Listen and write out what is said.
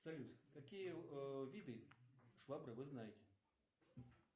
салют какие виды швабры вы знаете